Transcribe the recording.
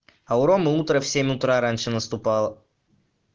а у ромы утро в семь утра раньше наступало